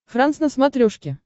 франс на смотрешке